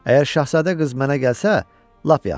Əgər şahzadə qız mənə gəlsə, lap yaxşı.